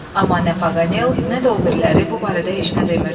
Amma nə Paqanel, nə də o biriləri bu barədə heç nə demirdilər.